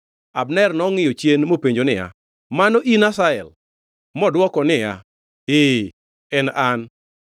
Abner nongʼiyo chien mopenjo niya, “Mano in, Asahel?” Modwoko niya, “Ee en an.”